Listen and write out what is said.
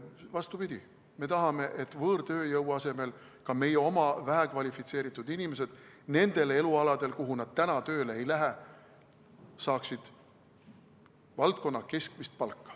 Vastupidi, meie tahame, et võõrtööjõu asemel ka meie oma vähekvalifitseeritud inimesed saaksid nendel elualadel, kuhu nad täna tööle ei lähe, valdkonna keskmist palka.